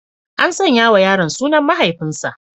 An sanya wa yaron sunan mahaifinsa.